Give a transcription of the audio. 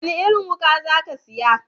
Wani irin wuka za ka saya?